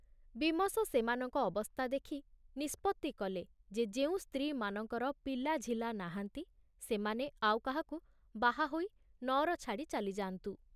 ବୀମସ ସେମାନଙ୍କ ଅବସ୍ଥା ଦେଖି ନିଷ୍ପତ୍ତି କଲେ ଯେ ଯେଉଁ ସ୍ତ୍ରୀମାନଙ୍କର ପିଲାଝିଲା ନାହାନ୍ତି ସେମାନେ ଆଉ କାହାକୁ ବାହା ହୋଇ ନଅର ଛାଡ଼ି ଚାଲିଯାନ୍ତୁ।